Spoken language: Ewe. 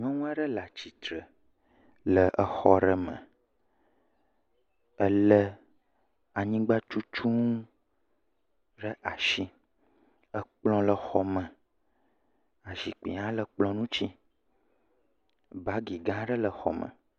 Nyɔnu aɖe le atitre le exɔ aɖe me ele anyigbatutunu ɖe asi kplɔ le xɔme zikpui ha le kplɔ ŋti bagi gã aɖe le xɔme